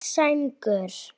Hvít sængur